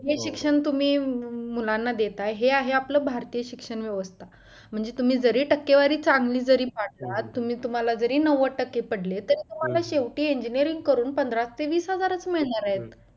हे शिक्षण तुम्ही मुलांना देताय आहे हे आहे आपल्या भारतीय शिक्षण व्यवस्था म्हणजेच जरी तुम्ही टक्केवारी चांगले जरी पडलात तुम्ही तुम्हाला जरी नव्वद टक्के पडले तर तुम्हाला शेवटी engineering पंधरा ते वीस हजारच मिळणार आहेत